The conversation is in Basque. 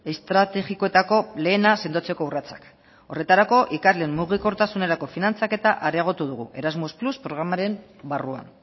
estrategikoetako lehena sendotzeko urratsak horretarako ikasleen mugikortasunerako finantzaketa areagotu dugu erasmus más programaren barruan